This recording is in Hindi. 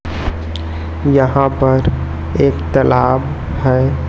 यहां पर एक तलाब है।